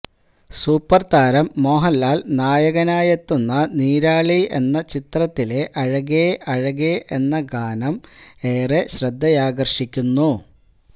സൂപ്പര്താരം മോഹന്ലാല് നായകനായെത്തുന്ന നീരാളി എന്ന ചിത്രത്തിലെ അഴകേ അഴകേ എന്ന ഗാനം ഏറെ ശ്രദ്ധയാകര്ഷിക്കുന്നു